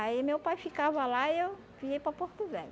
Aí meu pai ficava lá e eu vinha para Porto Velho.